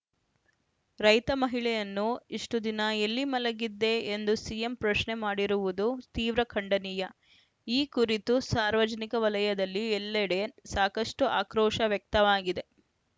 ರೈತ ಮಹಿಳೆಯನ್ನು ಇಷ್ಟುದಿನ ಎಲ್ಲಿ ಮಲಗಿದ್ದೆ ಎಂದು ಸಿಎಂ ಪ್ರಶ್ನೆ ಮಾಡಿರುವುದು ತೀವ್ರ ಖಂಡನೀಯ ಈ ಕುರಿತು ಸಾರ್ವಜನಿಕ ವಲಯದಲ್ಲಿ ಎಲ್ಲೆಡೆ ಸಾಕಷ್ಟುಆಕ್ರೋಶ ವ್ಯಕ್ತವಾಗಿದೆ